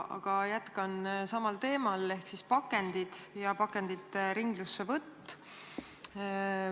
Aga ma jätkan samal teemal ehk siis pakendid ja pakendite ringlussevõtt.